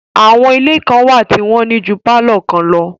Àwọn ilé kan wà tí wọ́n ní ju pálọ̀ kan lọ